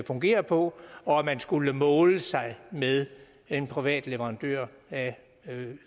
fungere på og at man skulle måle sig med en privat leverandør af